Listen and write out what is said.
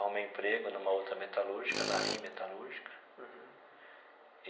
Arrumei emprego numa outra metalúrgica, na RIM Metalúrgica. Uhum.